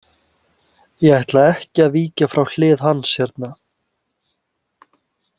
Ég ætla ekki að víkja frá hlið hans hérna.